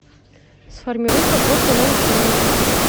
сформируй подборку новых фильмов